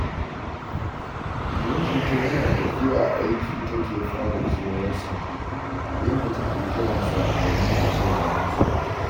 Mijinta yana tafiya aiki take fara kewarsa, inda take kiran sa, domin ta shaida masa.